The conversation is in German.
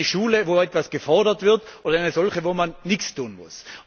In eine Schule, wo etwas gefordert wird, oder in eine, wo man nichts tun muss?